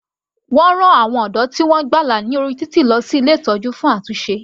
Wọ́n rán àwọn ọ̀dọ́ tí wọ́n gbàlà ní orí títì lọ sí ilé ìtọ́jú fún àtúnṣe.